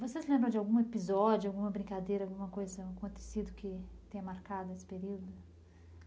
Você se lembra de algum episódio, alguma brincadeira, alguma coisa que tenha acontecido que tenha marcado esse período?